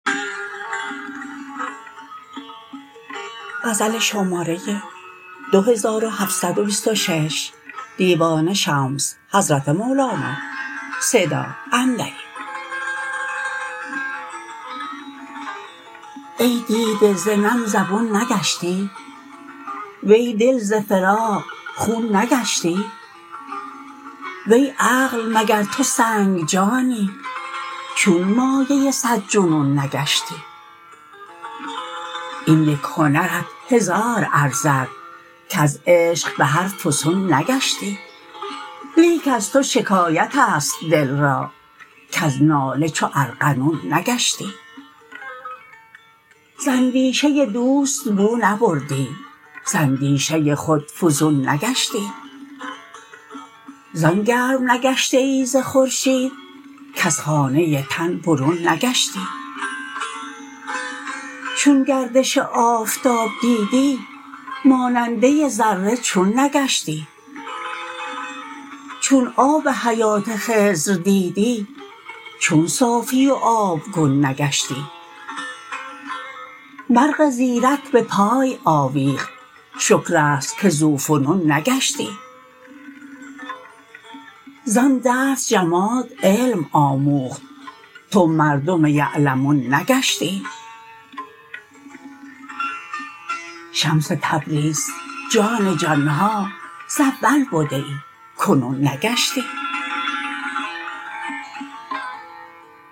ای دیده ز نم زبون نگشتی وی دل ز فراق خون نگشتی وی عقل مگر تو سنگ جانی چون مایه صد جنون نگشتی این یک هنرت هزار ارزد کز عشق به هر فسون نگشتی لیک از تو شکایت است دل را کز ناله چو ارغنون نگشتی ز اندیشه دوست بو نبردی ز اندیشه خود فزون نگشتی زان گرم نگشته ای ز خورشید کز خانه تن برون نگشتی چون گردش آفتاب دیدی ماننده ذره چون نگشتی چون آب حیات خضر دیدی چون صافی و آبگون نگشتی مرغ زیرک به پای آویخت شکر است که ذوفنون نگشتی زان درس جماد علم آموخت تو مردم یعلمون نگشتی شمس تبریز جان جان ها ز اول بده ای کنون نگشتی